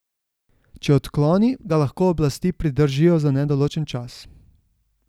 Če odkloni, ga lahko oblasti pridržijo za nedoločen čas.